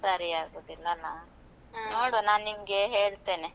ಸರಿ ಆಗೋದಿಲ್ಲಲ. ನಾನ್ ನಿಮ್ಗೇ ಹೇಳ್ತೇನೆ.